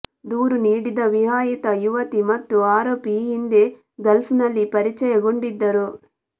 ದೂರು ನೀಡಿದ ವಿವಾಹಿತ ಯುವತಿ ಮತ್ತು ಆರೋಪಿ ಈ ಹಿಂದೆ ಗಲ್ಫ್ನಲ್ಲಿ ಪರಿಚಯಗೊಂಡಿದ್ದರು